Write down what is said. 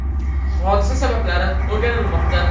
Hodisa sabablari o‘rganilmoqda.